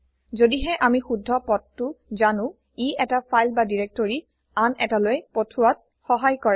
যদিহে আমি শুদ্ধ পথটো জানো ই এটা ফাইল বা দিৰেক্তৰি আন এটালৈ পথোৱাত সহায় কৰে